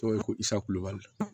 Dɔw ye ko kulubali